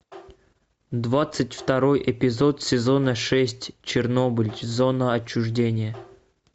двадцать второй эпизод сезона шесть чернобыль зона отчуждения